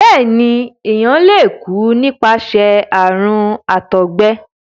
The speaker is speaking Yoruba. béèni èyán lẹ kú nípasẹ àrùn àtọgbẹ.